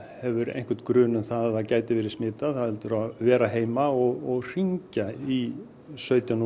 hefur einhvern grun um að það gæti verið smitað heldur að vera heima og hringja í sautján